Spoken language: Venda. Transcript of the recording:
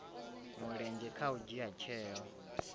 mulenzhe kha u dzhia tsheo